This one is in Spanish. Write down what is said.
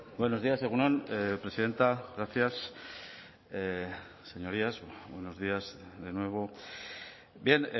buenos días egun on presidenta gracias señorías buenos días de nuevo bien